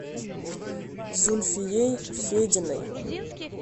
зульфией фединой